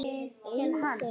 Einn þeirra var